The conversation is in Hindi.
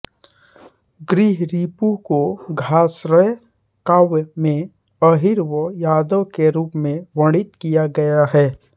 गृहरिपु को द्याश्रय काव्य में अहीर व यादव के रूप में वर्णित किया गया है